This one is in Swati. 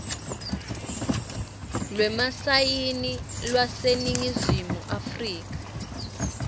lwemasayini lwaseningizimu afrika